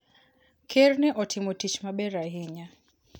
Ker ne otimo tich maber ahinya.